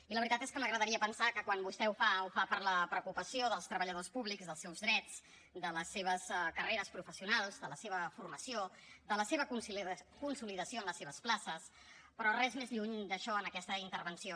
i la veritat és que m’agradaria pensar que quan vostè ho fa ho fa per la preocupació dels treballadors públics dels seus drets de les seves carreres professionals de la seva formació de la seva consolidació en les seves places però res més lluny d’això en aquesta intervenció